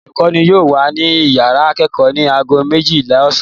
Olùkọ́ní yóò wà ní ìyàrá ìkẹ́kọ̀ọ́ ní ago méjìlá ọ̀sán.